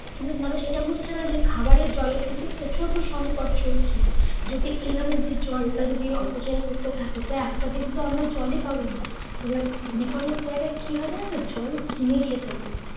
কিন্তু ধরো সেটা বুঝছে না যে খাবারের জলের কিন্তু প্রচণ্ড সঙ্কট চলছে। যদি এভাবে যদি জলটা যদি অপচয় করতে থাকে তা একটা দিন তো আমরা জলই পাবোনা। এবার অনেক অনেক জায়গায় কি হয় যেন তো জল কিনে খেতে হয়।